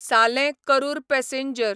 सालें करूर पॅसेंजर